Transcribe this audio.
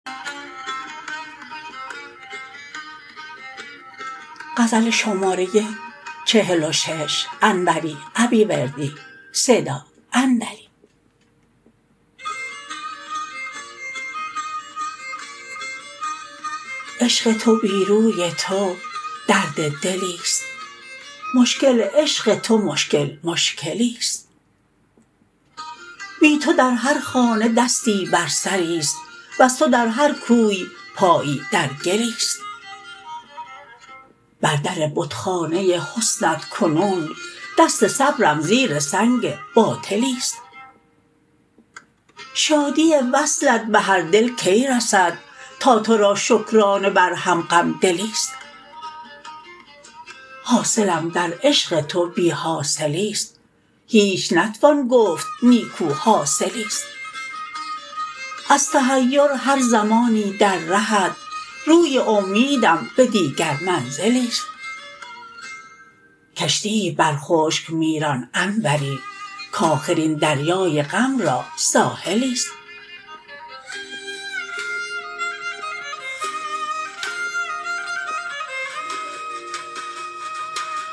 عشق تو بی روی تو درد دلیست مشکل عشق تو مشکل مشکلیست بی تو در هر خانه دستی بر سریست وز تو در هر کوی پایی در گلیست بر در بتخانه حسنت کنون دست صبرم زیر سنگ باطلیست شادی وصلت به هر دل کی رسد تا ترا شکرانه بر هر غم دلیست حاصلم در عشق تو بی حاصلیست هیچ نتوان گفت نیکو حاصلیست از تحیر هر زمانی در رهت روی امیدم به دیگر منزلیست کشتیی بر خشک می ران انوری کاخر این دریای غم را ساحلیست